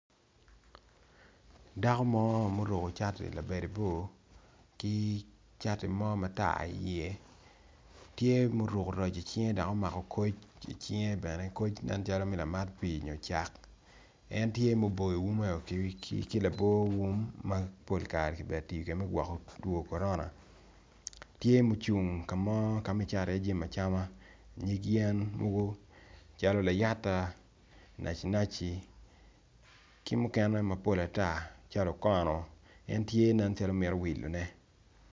Dako mo maoruko cati labade bor kicati mo matar i ye tye ma oruko raci icinge dok omako koc i cinge bene koc nen calo me lamat pi nyo cak en tye ma oboyo wume ki labor wum mapol kare kibedo katiyo kwede ma gwoko tuwo korona tye ma ocung kamo kama kicato i ye jami acama nyig yen mogo calo layata naci naci kimukene mapol atar calo okono en tye calo mito wilo ne.